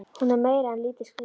Hún er meira en lítið skrítin.